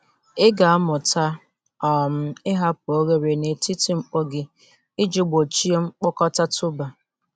Ị ga-amụta um ịhapụ oghere n’etiti mkpọ ji iji gbochie mkpokọta tuber.